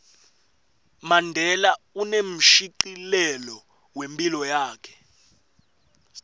mandela unemshicilelo wephilo yakhe